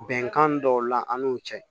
Bɛnkan dɔw la an n'o cɛ